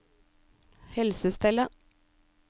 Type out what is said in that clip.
helsestellet